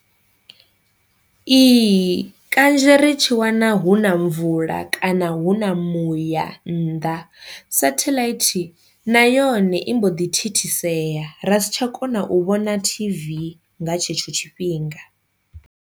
Ihi kanzhi ri tshi wana hu na mvula kana hu na muya nnḓa sathelaithi na yone i mbo ḓi thithisea ra si tsha kona u vhona T_V nga tshetsho tshifhinga.